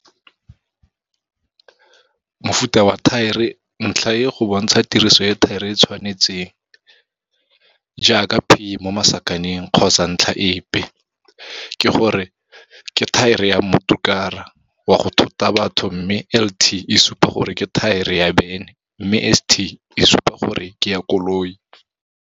Mofuta wa thaere. Ntlha e e go bontsha tiriso e thaere e e tshwanetseng, jaaka P kgotsa tlhaka epe ke gore ke thaere ya mmotorokara wa go thota batho mme LT e supa gore ke thaere ya bene mme ST e supa gore ke ya koloi.